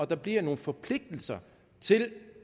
der bliver nogle forpligtelser til